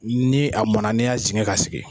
Ni a mɔnna , n'i y'a jigin k'a sigi.